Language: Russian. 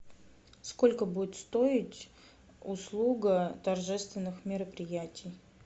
сколько будет стоить услуга торжественных мероприятий